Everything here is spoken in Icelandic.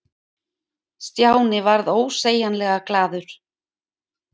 Stjáni varð ósegjanlega glaður.